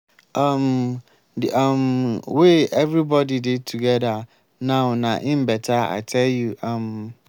um the um way everybody dey together now na im beta i tell you. um